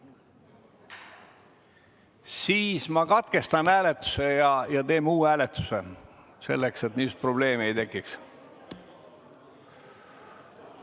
Siis ma katkestan hääletuse ja teeme uue hääletuse selleks, et seda probleemi ei oleks.